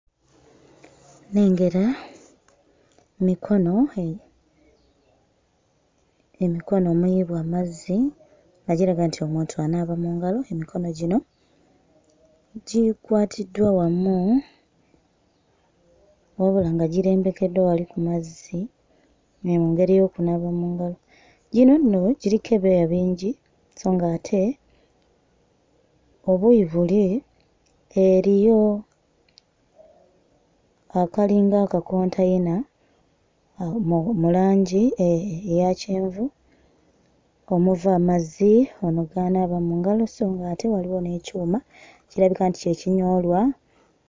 Nnengera mikono e emikono meeru amazzi nga giraga nti omuntu anaaba mu ngalo. Emikono gino gikwatiddwa wamu, wabula nga girembekeddwa wali ku mazzi mu ngeri y'okunaaba mu ngalo. Gino nno giriko ebyoya bingi sso ng'ate obuuyi buli eriyo akalinga akakonteyina uhm mu langi e e eya kyenvu omuva amazzi ono g'anaaba mu ngalo sso ng'ate waliwo n'ekyuma kirabika nti kye kinyoolwa...